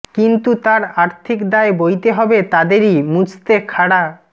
কিন্তু তার আর্থিক দায় বইতে হবে তাদেরই মুছতে খাড়া